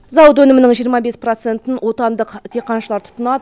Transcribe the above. зауыт өнімінің жиырма бес процентын отандық диқаншылар тұтынады